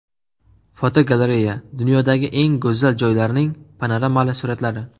Fotogalereya: Dunyodagi eng go‘zal joylarning panoramali suratlari.